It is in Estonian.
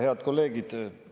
Head kolleegid!